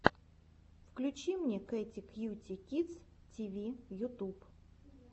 включи мне кэти кьюти кидс ти ви ютуб